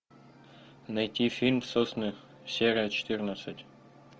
найти фильм сосны серия четырнадцать